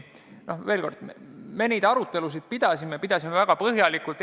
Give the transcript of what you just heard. Veel kord: me neid arutelusid pidasime, ja pidasime väga põhjalikult.